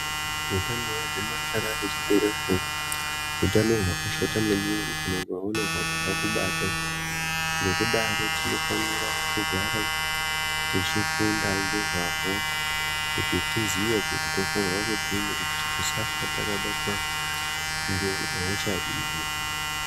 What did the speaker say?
Utano hwegomarara rechibereko utano hwakashata maningi kana ukaona hwakubata ngekudaro tinofanira kugara tichifunda ngezvahwo kuti tiziye kuti tofanirwa kudini kuti tisafa takabatwa ngehosha iyi.